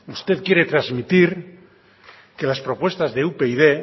usted quiere transmitir que las propuestas de upyd